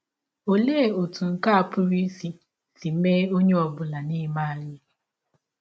Ọlee ọtụ nke a pụrụ isi isi mee ọnye ọ bụla n’ime anyị?